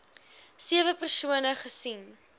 sewe persone gesien